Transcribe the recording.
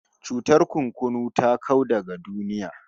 Cutar kurkunu ta kau daga duniya